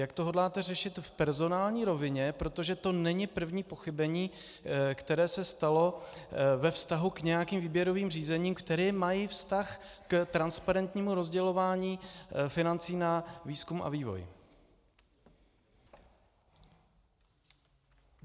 Jak to hodláte řešit v personální rovině, protože to není první pochybení, které se stalo ve vztahu k nějakým výběrovým řízením, která mají vztah k transparentnímu rozdělování financí na výzkum a vývoj.